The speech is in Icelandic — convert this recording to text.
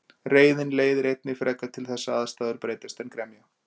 Reiðin leiðir einnig frekar til þess að aðstæður breytast en gremja.